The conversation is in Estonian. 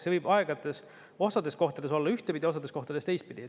See võib osades kohtades olla ühtpidi, osades kohtades teistpidi.